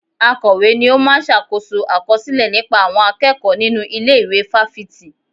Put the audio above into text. Akọ̀we ni ó máa ń ṣàkóso àkọsílẹ̀ nípa àwọn akẹ́kọ̀ọ́ nínú ilé ìwé fáfitì